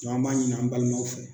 an b'a ɲini an balimaw fɛ